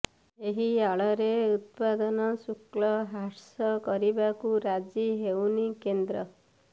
ଏହି ଆଳରେ ଉତ୍ପାଦନ ଶୁଳ୍କ ହ୍ରାସ କରିବାକୁ ରାଜି ହେଉନି କେନ୍ଦ୍ର